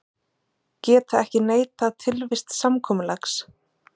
Geta ekki neitað tilvist samkomulags